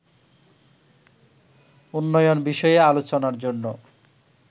উন্নয়ন বিষয়ে আলোচনার জন্য